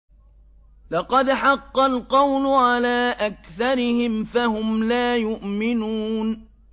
لَقَدْ حَقَّ الْقَوْلُ عَلَىٰ أَكْثَرِهِمْ فَهُمْ لَا يُؤْمِنُونَ